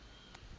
o se o fodile a